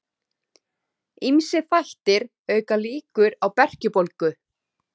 Ýmsir þættir auka líkur á berkjubólgu.